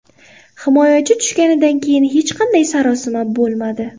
Himoyachi tushganidan keyin hech qanday sarosima bo‘lmadi.